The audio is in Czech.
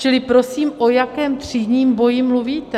Čili prosím, o jakém třídním boji mluvíte?